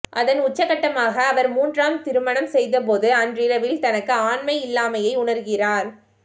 அதன் உச்சகட்டமாக அவர் மூன்றாம் திருமணம் செய்தபோது அன்றிரவில் தனக்கு ஆண்மையில்லாமையை உணர்கிறார்